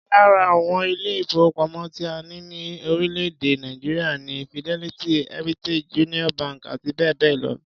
Lára àwọn ilé-ìfowópamọ́ tí a ní ní orílẹ̀-èdè Nàìjíríà ni Fidelity, Heritage, Union bank àti bẹ́ẹ̀ bẹ́ẹ̀ lọ.